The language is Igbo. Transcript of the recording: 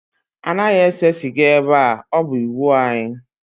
Anaghị ese sịga ebe a, ọ bụ iwu anyị